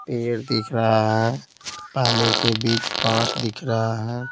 पेड़ दिख रहा है पानी के बीच पास दिख रहा है।